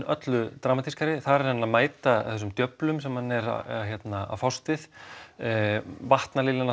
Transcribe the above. öllu dramatískari þar er hann að mæta þessum djöflum sem hann er að fást við